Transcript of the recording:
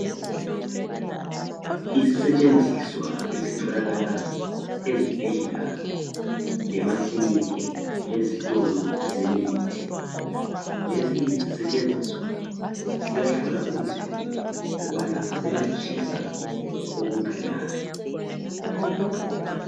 Isisetshenziswa esitholakala ezibhedlela lemakilinika, lezitolo zemithi. Lesi sisetshenzisa siyahlola umzimba ukubana uyatshisa okunganani.